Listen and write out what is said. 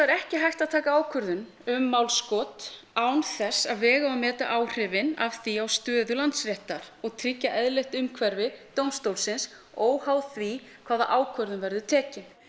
ekki hægt að taka ákvörðun um málskot án þess að vega og meta áhrifin af því á stöðu Landsréttar og tryggja eðlilegt umhverfi dómstólsins óháð því hvaða ákvörðun verður tekin